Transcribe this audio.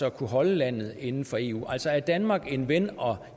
at kunne holde landet inden for eu altså er danmark en ven og